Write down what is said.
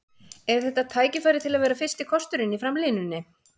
Er þetta tækifæri til að vera fyrsti kosturinn í framlínunni?